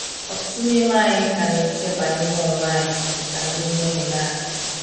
Ọtụtụ n’ime anyị ka na-eche banyere onwe anyị dị ka ndị mmehie naanị.